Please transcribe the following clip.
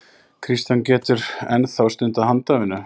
Kristján: Þú getur enn þá stundað handavinnu?